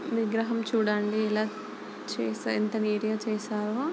విగ్రహం చూడండి ఇలా చేసి ఎంత నీట్ గా చేసారో.